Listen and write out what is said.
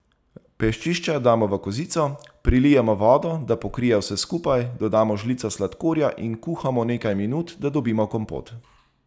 Peščišča damo v kozico, prilijemo vodo, da pokrije vse skupaj, dodamo žlico sladkorja in kuhamo nekaj minut, da dobimo kompot.